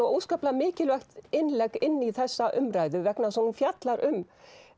óskaplega mikilvægt innlegg inn í þessa umræðu vegna þess að hún fjallar um